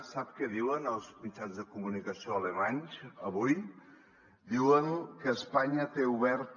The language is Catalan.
sap què diuen els mitjans de comunicació alemanys avui diuen que espanya té oberta